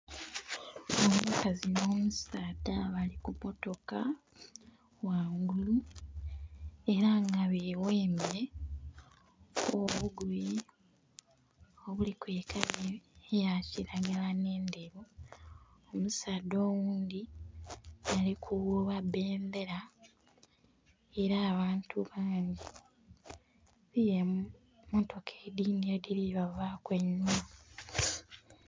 Omukazi nh'omusaadha bali ku mmotoka ghangulu ela nga beghembye obugoye obuliku ekala eya kilagala nh'endheru. Omusaadha oghundhi, ali kuwuuba bendera era abantu bangi. Eliyo emmotoka edhindhi edhili bavaaku einhuma.